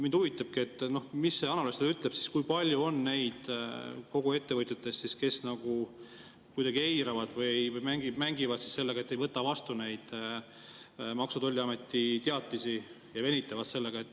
Mind huvitabki, et mis see analüüs ütleb, kui palju on kõigist ettevõtjatest neid, kes kuidagi eiravad või mängivad sellega, et ei võta vastu neid Maksu‑ ja Tolliameti teatisi, ja venitavad sellega.